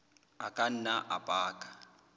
a ka nna a baka